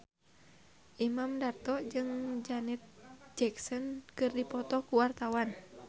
Imam Darto jeung Janet Jackson keur dipoto ku wartawan